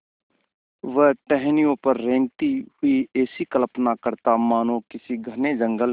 वह टहनियों पर रेंगते हुए ऐसी कल्पना करता मानो किसी घने जंगल में